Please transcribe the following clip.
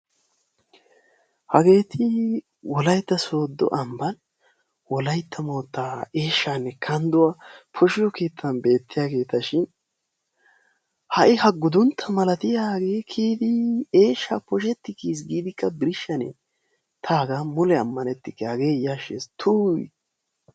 hageeti wolaytta soodo amban wolaytta yetaanne kanduwa poshiyo keetan beetiyaageeta shin ha'i ha guduntaa milatiya kiyidi eeshaa poshetidi kiyiis giidikka birshanee? ta hagaa mule ammanikke hagee yashees tuyii!